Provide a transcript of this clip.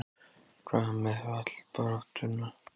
Hvað með fallbaráttuna?